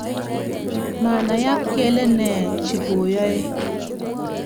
Manayak kele nee chikoyae.